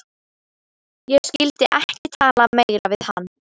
Ég skyldi ekki tala meira við hann.